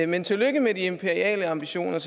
men tillykke med de imperiale ambitioner